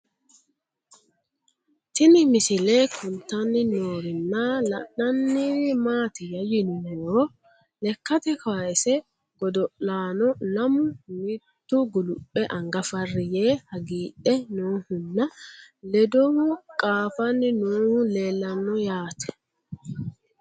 Tinni misile kulittanni noorrinna la'nanniri maattiya yinummoro lekkatte kaasse godo'lanno lamu mittu guliphe anga fari yee hagiidhdhe noohunna ledohu qaaffanni noohu leelanno yaatte